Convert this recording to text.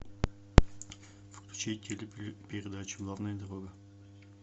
включить телепередачу главная дорога